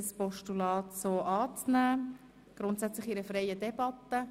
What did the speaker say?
Grundsätzlich beraten wir dieses in freier Debatte.